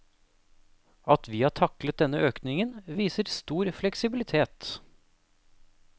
At vi har taklet denne økningen, viser stor fleksibilitet.